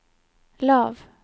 lav